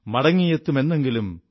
മടങ്ങിയെത്തും എന്നെങ്കിലും